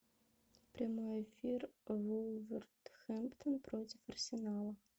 прямой эфир вулверхэмптон против арсенала